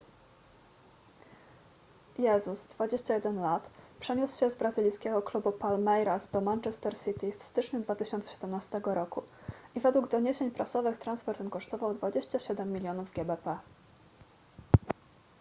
jesus 21 l. przeniósł się z brazylijskiego klubu palmeiras do manchester city w styczniu 2017 roku i według doniesień prasowych transfer ten kosztował 27 milionów gbp